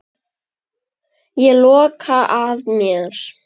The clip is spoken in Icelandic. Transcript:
Ég loka að mér.